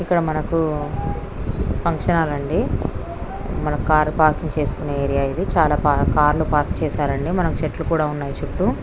ఇక్కడ మనకి ఫంక్షనల్ అంది మనం కార్ పార్కింగ్ చేసుకునే ఏరియా అండి చాలా కార్ లు పార్కింగ్ చేసారుచెట్లు కూడా ఉన్నాయి చుట్టూ .